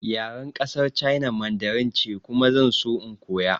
Yaren ƙasar China Mandarin ce kuma zan so in koya